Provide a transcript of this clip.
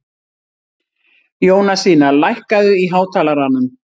Jónasína, lækkaðu í hátalaranum.